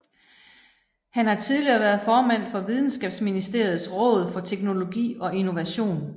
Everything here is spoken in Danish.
Han har tidligere været formand for Videnskabsministeriets Råd for Teknologi og Innovation